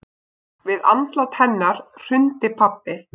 Við andlát hennar hrundi pabbi.